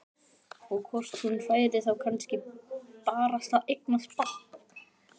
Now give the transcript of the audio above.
Og hvort hún færi þá kannski barasta að eignast barn.